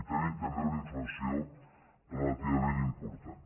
i tenim també una inflació relativament important